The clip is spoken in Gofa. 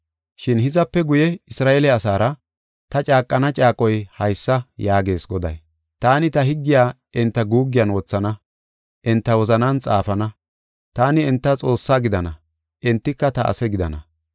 Shin hizape guye Isra7eele asaara ta caaqana caaqoy haysa yaagees Goday. Taani ta higgiya enta guuggiyan wothana; enta wozanan xaafana. Taani enta Xoossaa gidana; entika ta ase gidana.